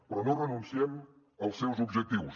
però no renunciem als seus objectius